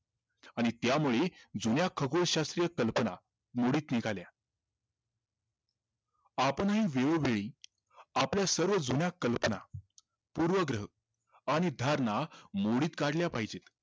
आणि त्यामुळे जुन्या खगोलाश्य कल्पना मोडीत निघाल्या आपणही वेळोवेळी आपल्या सर्व जुन्या कल्पना पूर्वग्रह आणि धारणा मोडीत काढल्या पाहिजेत